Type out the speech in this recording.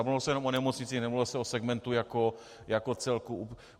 A nemluvilo se jenom o nemocnicích, mluvilo se o segmentu jako celku.